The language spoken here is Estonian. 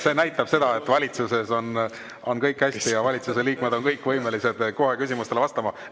See näitab seda, et valitsuses on kõik hästi ja valitsuse liikmed on kõik võimelised kohe küsimustele vastama.